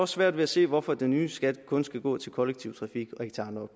svært ved at se hvorfor den nye skat kun skal gå til kollektiv trafik og ikke til andre